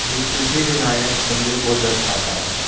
जो सिद्धिविनायक मंदिर को दर्शाता है।